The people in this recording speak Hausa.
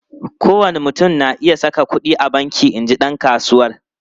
Kowane mutum na iya saka kudi a banki, in ji dan kasuwar.